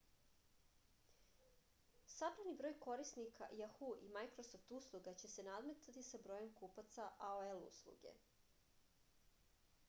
sabrani broj korisnika jahu i majkrosoft usluga će se nadmetati sa brojem kupaca aol usluge